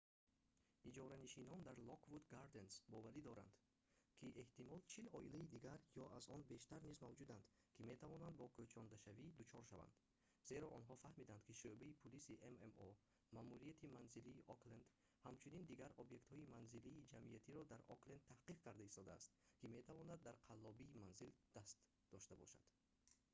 иҷоранишинон дар lockwood gardens боварӣ доранд ки эҳтимол 40 оилаи дигар ё аз он бештар низ мавҷуданд ки метавонанд бо кӯчондашавӣ дучор шаванд зеро онҳо фаҳмиданд ки шӯъбаи пулиси ммо маъмурияти манзилии окленд ҳамчунин дигар объектҳои манзилии ҷамъиятиро дар окленд таҳқиқ карда истодааст ки метавонанд дар қаллобии манзил даст дошта бошанд